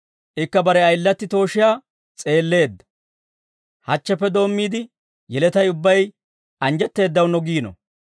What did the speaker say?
Ikka bare ayilatti tooshiyaa s'eelleedda. Hachcheppe doommiide yeletay ubbay anjjetteeddawunnee giino.